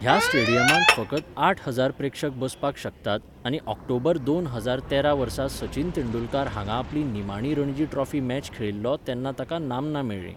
ह्या स्टेडियमांत फकत आठ हजार प्रेक्षक बसपाक शकतात आनी ऑक्टोबर दोन हजार तेरा वर्सा सचिन तेंडुलकार हांगा आपली निमाणी रणजी ट्रॉफी मॅच खेळिल्लो तेन्ना ताका नामना मेळ्ळी.